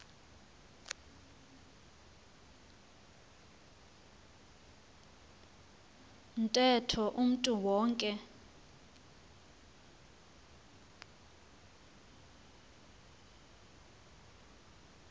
ntetho umntu wonke